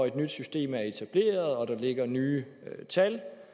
et nyt system var etableret og der lå nye tal